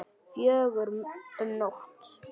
Fjögur um nótt?